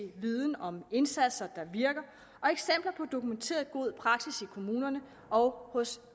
viden om indsatser der virker og eksempler på dokumenteret god praksis i kommunerne og hos